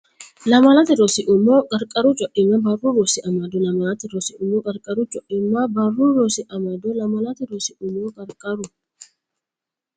Lamalate Rosi Umo Qarqaru Co imma Barru Rosi Amado Lamalate Rosi Umo Qarqaru Co imma Barru Rosi Amado Lamalate Rosi Umo Qarqaru.